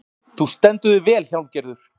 Þú stendur þig vel, Hjálmgerður!